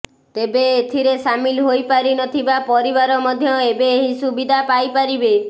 ତେବେ ଏଥିରେ ସାମିଲ ହୋଇପାରିନଥିବା ପରିବାର ମଧ୍ୟ ଏବେ ଏହି ସୁବିଧା ପାଇପାରିବେ